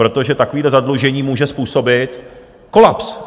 Protože takové zadlužení může způsobit kolaps.